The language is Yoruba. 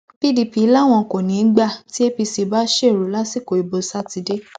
pdp làwọn kò ní í gbà tí apc bá ṣẹrú lásìkò ìbò sátidé